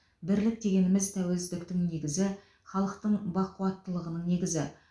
бірлік дегеніміз тәуелсіздіктің негізі халықтың бақуаттылығының негізі